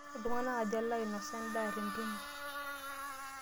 Iltung'anak aja loinosa endaa tentumo?